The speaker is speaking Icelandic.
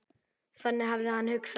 Þannig hafði hann hugsað.